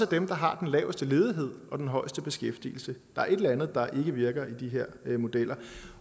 dem der har den laveste ledighed og den højeste beskæftigelse der er et eller andet der virker i de her modeller